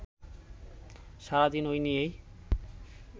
সারাদিন ওই নিয়েই